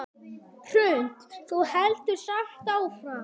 Hrund: Þú heldur samt áfram?